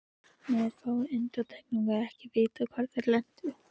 Með fáum undantekningum er ekkert vitað hvar þeir lentu.